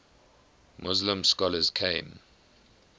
muslim scholars came